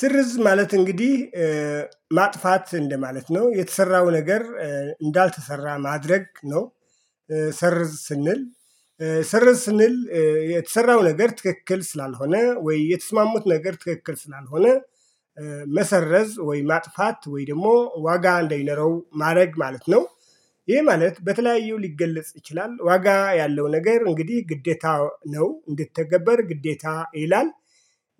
ስርዝ ማለት እንግዲ ማጥፋት እንደማለት ነው የተሰራው ነገር እንዳልተሰራ ማድረግ ነው። ሰርዝ ስንል ሰርዝ ስንል የተሰራው ነገር ትክክል ስላልሆነ ወይ የተስማሙት ነገር ትክክል ስላልሆነ መሰረዝ ወይ ማጥፋት ወይ ደሞ ዋጋ እንዳይኖረው ማረግ ማለት ነው። ይሄ ማለት በተለያዩ ሊገለጽ ይችላል ዋጋ ያለው ነገር እንግዲ ግዴታ ነው እንዲተገበር ግዴታ ይላል።